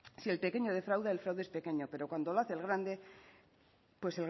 si el pequeño defrauda el fraude es pequeño pero cuando lo hace el grande pues